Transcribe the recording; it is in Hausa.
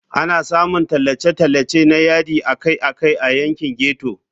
Ana samun tallace-tallace na yadi akai-akai a yankin ghetto.